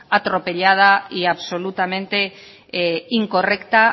atropellada y absolutamente incorrecta